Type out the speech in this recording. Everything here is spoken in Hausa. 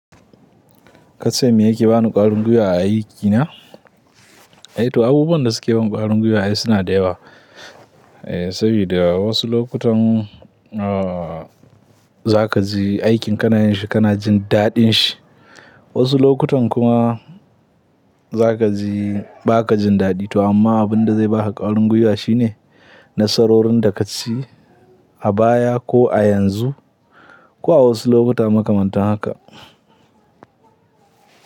Kasan me yake bani ƙwarin gwiwa a aikina? Eh to abubuwan da suke ban ƙwarin gwiwa ai suna da yawa. Eh saboda wasu lokutan, ah zakaji aikin kana yin shi kana jin daɗin shi. Wasu lokutan kuma zakaji bakajin daɗi to amma abin da zai baka ƙwarin gwiwa shine nasarorin da kaci a baya ko a yanzu ko a wasu lokuta makamantan haka.